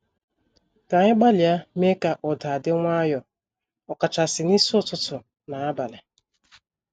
Ka anyị gbalịa mee ka ụda di nwayo, ọkachasị n'isi ụtụtụ na abalị.